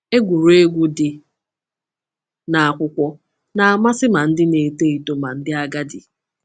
Egwuregwu dị n’akwụkwọ na-amasị ma ndị na-eto eto ma ndị agadi.